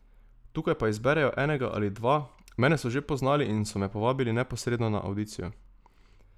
Tukaj pa izberejo enega ali dva, mene so že poznali in so me povabili neposredno na avdicijo.